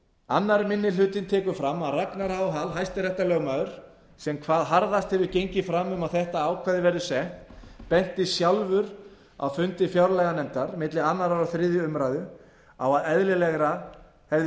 annar minni hluti tekur fram að ragnar h hall hæstaréttarlögmaður sem hvað harðast hefur gengið fram um að þetta ákvæði verði sett benti sjálfur á á fundi fjárlaganefndar milli annars og þriðju umræðu að eðlilegra hefði